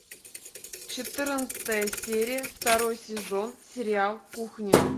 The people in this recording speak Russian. четырнадцатая серия второй сезон сериал кухня